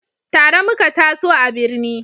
Tare muka taso a birni